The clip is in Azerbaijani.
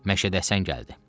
Məşədəsən gəldi.